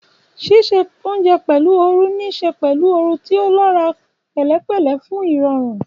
Ṣíṣe oúnjẹ pẹ̀lú ooru ní í ṣe pẹ̀lú ooru tí ó lọ́ra, pẹ̀lẹ́pẹ̀lẹ́ fún ìrọ̀rùn.